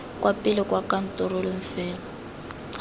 kwa pele kwa khaontareng fela